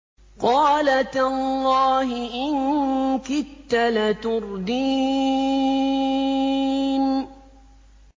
قَالَ تَاللَّهِ إِن كِدتَّ لَتُرْدِينِ